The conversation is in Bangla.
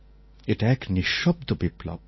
এটা এক নিঃশব্দ বিপ্লব